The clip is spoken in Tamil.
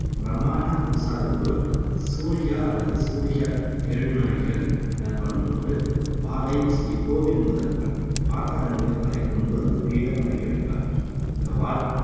பிரமாண பூசாரி ஒருவர் சூரிகா அல்லது சூரிகா எழுநாழிக்கல் எனப்படும் ஒரு வாளை ஸ்ரீகோவில் முதல் பாட்டரங்கு வரை கொண்டு வந்து பீடம் அருகே வைப்பார். இந்த வாள்